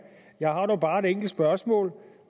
jeg har dog bare et enkelt spørgsmål